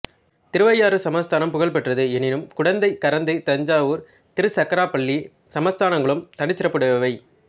திருவையாறு சப்தஸ்தானம் புகழ்பெற்றது எனினும் குடந்தை கரந்தை தஞ்சாவூர் திருச்சக்கராப்பள்ளி சப்தஸ்தானங்களும் தனிச்சிறப்புடையவை